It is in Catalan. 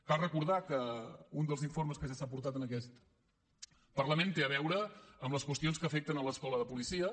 cal recordar que un dels informes que ja s’ha portat en aquest parlament té a veure amb les qüestions que afecten l’escola de policia